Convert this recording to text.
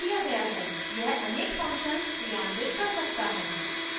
यह अनेक functions क्रियान्वित कर सकता है